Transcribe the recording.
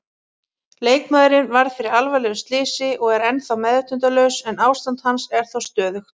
Leikmaðurinn varð fyrir alvarlegu slysi og er ennþá meðvitundarlaus en ástand hans er þó stöðugt.